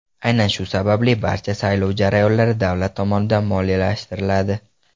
Aynan shu sababli, barcha saylov jarayonlari davlat tomonidan moliyalashtiriladi.